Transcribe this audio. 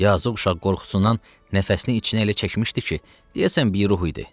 Yazıq uşaq qorxusundan nəfəsini içinə elə çəkmişdi ki, deyəsən bir ruh idi.